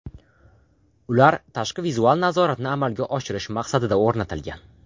Ular tashqi vizual nazoratni amalga oshirish maqsadida o‘rnatilgan.